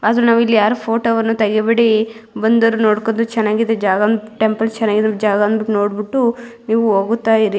ಆದ್ರೆ ನಾವಿಲ್ಲಿ ಯಾರು ಫೋಟೋವನ್ನು ತೆಗಿಬೇಡಿ ಬಂದೋರು ನೋಡ್ಕೊಂಡು ಚೆನ್ನಾಗಿದೆ ಜಾಗ ಟೆಂಪಲ್ ಚೆನ್ನಾಗಿದೆ ಜಾಗ ಅಂದ್ಕೊಂಡು ನೋಡ್ ಬಿಟ್ಟು ನೀವು ಹೋಗುತ್ತಾ ಇರಿ.